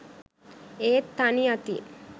ඒත් තනි අතින්